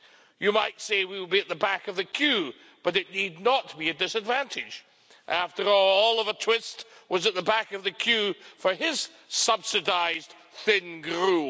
You might say we will be at the back of the queue, but it need not be a disadvantage. After all, Oliver Twist was at the back of the queue for his subsidised thin gruel.